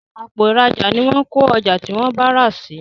Àpò ìrajà ní wón ko ọjà tí wón rà sí